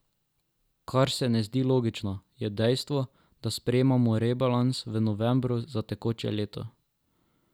Kar se ne zdi logično, je dejstvo, da sprejemamo rebalans v novembru za tekoče leto.